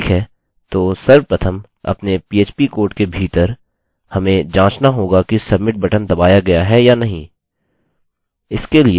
ठीक है तो सर्वप्रथम अपने php कोड के भीतर हमें जाँचना होगा कि submit बटन दबाया गया है या नहीं